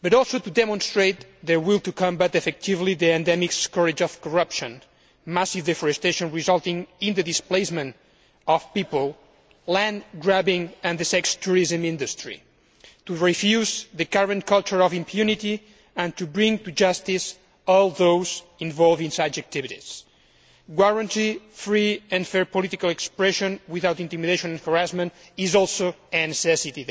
but also to demonstrate the will to combat effectively the endemic scourge of corruption, massive deforestation resulting in the displacement of people, land grabbing and the sex tourism industry, to refuse the current culture of impunity and to bring to justice all those involved in such activities. The guarantee of free and fair political expression without intimidation or harassment is also a necessity.